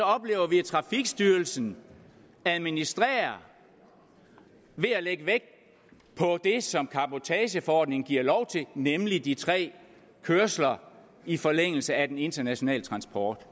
oplever vi at trafikstyrelsen administrerer ved at lægge vægt på det som cabotageforordningen giver lov til nemlig de tre kørsler i forlængelse af den internationale transport